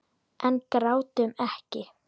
En grátum ekki.